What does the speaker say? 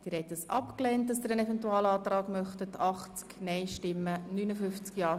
Der Grosse Rat lehnt den Eventualantrag Köpfli ab.